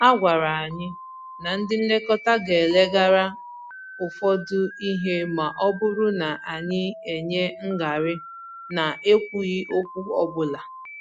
A gwàrà anyị na ndị nlekọta gà-eleghara ụfọdụ ihe ma ọ bụrụ na anyị enye ngarị na-ekwughị okwu ọbụla